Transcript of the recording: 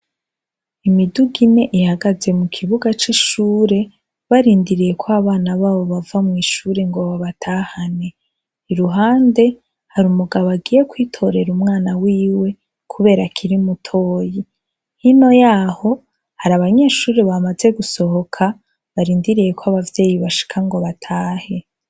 Imiduga ine ihagaze mukibuga c'ishure, barindiriye ko abana babo bava mw'ishure ngo babatahane. Iruhande, hari umugabo agiye kwitorera umwana wiwe, kubera akiri mutoyi. Hino yaho, hari abanyeshure bamaze gusohoka, barindiriye ko abavyeyi bashika ngo batahe.